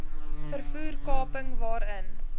vervoer kaping waarin